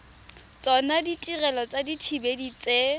tsona ditirelo tsa dithibedi tse